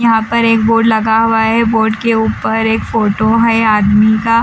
यहाँ पर एक बोर्ड लगा हुआ है बोर्ड के ऊपर के एक फोटो है आदमी का--